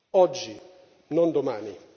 Oggi, non domani!